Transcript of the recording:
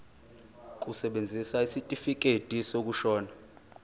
kusebenza isitifikedi sokushona